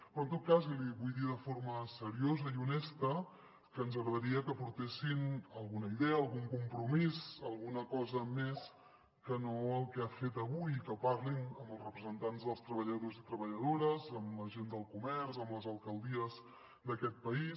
però en tot cas li vull dir de forma seriosa i honesta que ens agradaria que portessin alguna idea algun compromís alguna cosa més que no el que ha fet avui i que parlin amb els representants dels treballadors i treballadores amb la gent del comerç amb les alcaldies d’aquest país